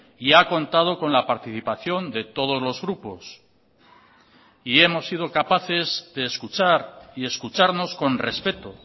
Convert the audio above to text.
y ha contado con la participación de todos los grupos y hemos sido capaces de escuchar y escucharnos con respeto